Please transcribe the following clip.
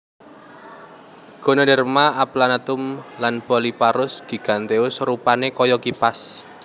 Ganoderma aplanatum lan Polyporus giganteus rupané kaya kipas